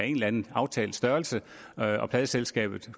eller anden aftalt størrelse og og pladeselskabet